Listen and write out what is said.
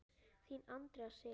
Þín Andrea Sif.